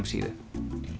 síðu